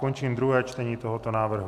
Končím druhé čtení tohoto návrhu.